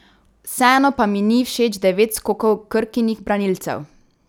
Vseeno pa mi ni všeč devet skokov Krkinih branilcev.